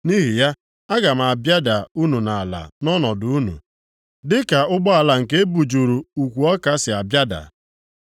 “Nʼihi ya, aga m abịada unu nʼala nʼọnọdụ unu, dịka ụgbọala nke e bujuru ukwu ọka si abịada.